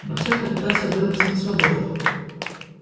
боксёр попытался вырваться на свободу